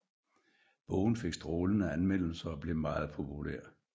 Bogen fik strålende anmeldelser og blev meget populær